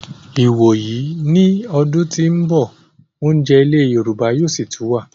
Ìwòyí ìgbà yìí ní ọdún tí ó ń bọ̀, oúnjẹ ilẹ̀ yorùbá yóò sì tún wà